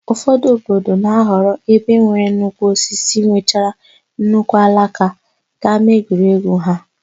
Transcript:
Ụfọdụ obodo na-ahọrọ ebe nwere nnukwu osisi nwechara nnukwu alaka ka ámáegwuregwu ha.